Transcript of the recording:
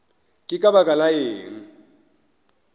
ke ka baka la eng